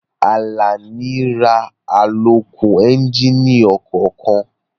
Àlàní ra àlòkù éúnjínì ọkọ̀ kan